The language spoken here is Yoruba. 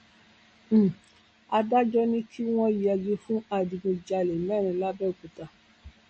um adájọ ni kí wọn yẹgi fún adigunjalè mẹrin làbẹọkúta